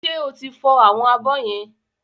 Ṣé o ti fọ àwọn abọ́ yẹn?